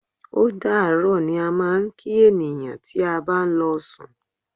Ódàárọ̀ ni a máa ń kí ènìyàn tí a bá ń lọ sùn.